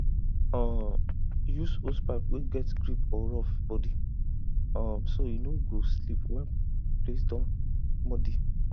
um use hosepipe wey get grip or rough body um so e no go slip when place don muddy